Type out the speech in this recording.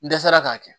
N dɛsɛra k'a kɛ